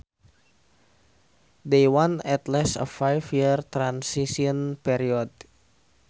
They want at least a five year transition period